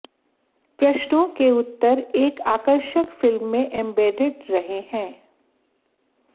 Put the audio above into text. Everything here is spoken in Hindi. प्रश्नों के उत्तर एक आकर्षक फिल्म में एम्बेडेड रहे हैं